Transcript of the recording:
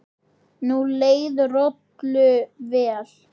Nú leið Rolu vel.